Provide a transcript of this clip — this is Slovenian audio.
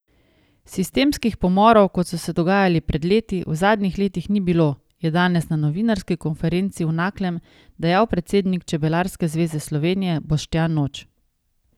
Sistemskih pomorov, kot so se dogajali pred leti, v zadnjih letih ni bilo, je danes na novinarski konferenci v Naklem dejal predsednik Čebelarske zveze Slovenije Boštjan Noč.